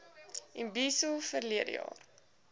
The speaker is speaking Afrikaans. imbizo verlede jaar